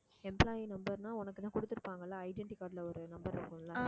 employee number ன்னா உனக்குதான் கொடுத்திருப்பாங்க இல்ல identity card ல ஒரு number இருக்கும் இல்ல